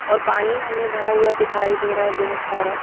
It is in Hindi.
और पानी हमें भरा हुआ दिखाई दे रहा है बहुत सारा।